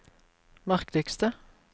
merkeligste